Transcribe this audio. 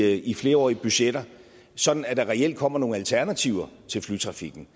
i flerårige budgetter sådan at der reelt kommer nogle alternativer til flytrafikken